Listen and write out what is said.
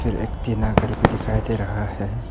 फिर एक टीना घर भी दिखाई दे रहा है।